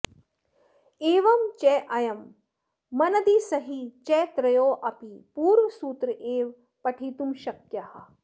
एवं चायं मनदिसही च त्रयोऽपि पूर्वसूत्र एव पठितुं शक्याः